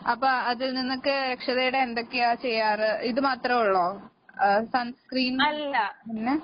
അപ്പ അതിൽ നിന്നൊക്കെ രക്ഷതേടാൻ എന്തൊക്കെയാ ചെയ്യാറ്? ഇത് മാത്രേ ഒള്ളോ? ആഹ് സൺസ്‌ക്രീൻ പിന്നെ?